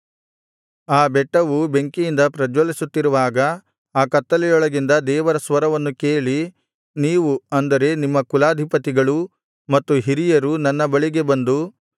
ಆ ಬೆಟ್ಟವು ಬೆಂಕಿಯಿಂದ ಪ್ರಜ್ವಲಿಸುತ್ತಿರುವಾಗ ಆ ಕತ್ತಲೊಳಗಿಂದ ದೇವರ ಸ್ವರವನ್ನು ಕೇಳಿ ನೀವು ಅಂದರೆ ನಿಮ್ಮ ಕುಲಾಧಿಪತಿಗಳೂ ಮತ್ತು ಹಿರಿಯರೂ ನನ್ನ ಬಳಿಗೆ ಬಂದು